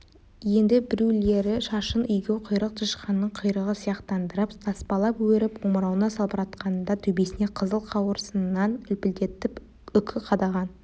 енді біреулері шашын егеуқұйрық тышқанның құйрығы сияқтандырып таспалап өріп омырауына салбыратқан да төбесіне қызыл қауырсыннан үлпілдетіп үкі қадаған